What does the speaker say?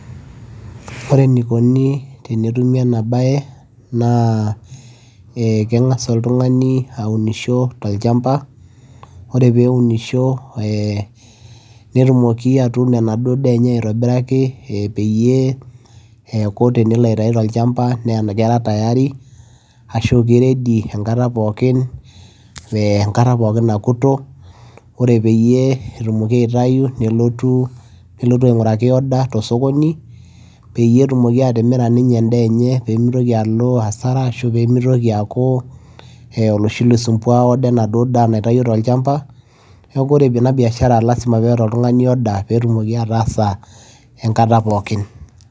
Ore enikoni tenetumi ena baye naa ee keng'asa oltung'ani aunisho tolchamba, ore peeunisho ee netumoki atuuno enaduo daa enye aitobiraki peyie eeku tenelo aitayu tolchamba naa kera tayari ashu ke ready enkata pookin enkata pookin nakuto. Ore peyie etumoki aitayu nelotu nelotu aing'uraki order to osokoni peyie etumoki atimira ninye endaa enye pee mitoki alo hasara ashu pee mitoki aaku loi sumbua order enaduo daa naitayuo tolchamba. Neeku ore ena biashara lazima peeta oltung'ani order pee etumoki ataasa enkata pookin.